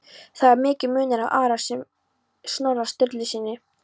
Þó er mikill munur á Ara og Snorra Sturlusyni.